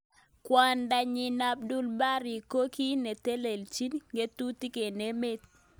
Kwondonyi Abdul Bari ko ki neteleljin ngatutik eng emet.